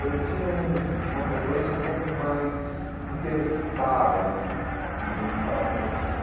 Eu tinha um uma frequência um pouco mais interessada no no no no que estava acontecendo.